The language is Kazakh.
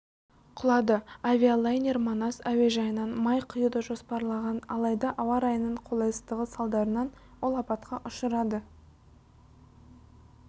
құлады авиалайнер манас әуежайынан май құюды жоспарлаған алайда ауа райының қолайсыздығы салдарынан ол апатқа ұшырады